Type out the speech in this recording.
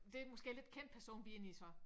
Det måske en lidt kendt person vi er inde i så